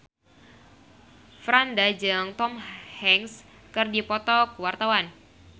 Franda jeung Tom Hanks keur dipoto ku wartawan